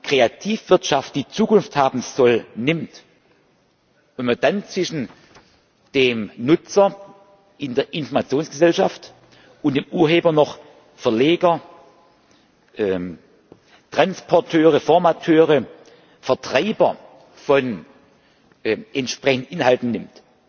Kreativwirtschaft, die Zukunft haben soll, nimmt, wenn man dann zwischen dem Nutzer in der Informationsgesellschaft und dem Urheber noch Verleger, Transporteure, Formateure, Vertreiber von entsprechenden Inhalten nimmt,